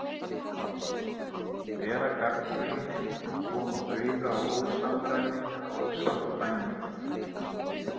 Vera gagnrýnin og koma auga á ósamræmi eða ósamkvæmni.